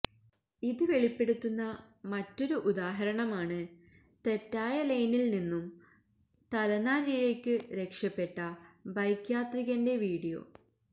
ഇത് വെളിപ്പെടുത്തുന്ന മറ്റൊരു ഉദ്ദാഹരണമാണ് തെറ്റായ ലെയ്നില് നിന്നും തലനാരിഴയ്ക്ക് രക്ഷപ്പെട്ട ബൈക്ക് യാത്രികന്റെ വീഡിയോ